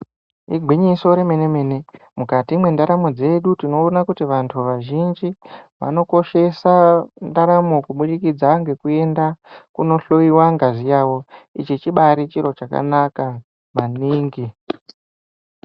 Igwinyiso remene mene mukati mendaro dzedu tinoona kuti vantu vazhinji vanokoshesa ndaramo kuburikitsa nekuenda kunohloyiwa ngazi yavo ichi chibari chiro chakanaka maningi.